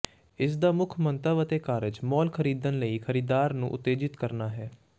ਇਸ ਦਾ ਮੁੱਖ ਮੰਤਵ ਅਤੇ ਕਾਰਜ ਮਾਲ ਖਰੀਦਣ ਲਈ ਖਰੀਦਦਾਰ ਨੂੰ ਉਤੇਜਿਤ ਕਰਨਾ ਹੈ